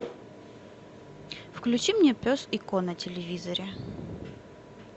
включи мне пес и ко на телевизоре